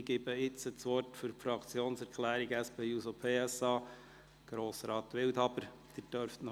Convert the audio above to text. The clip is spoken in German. Ich gebe das Wort Grossrat Wildhaber für die Fraktionserklärung der SP-JUSP-PSA.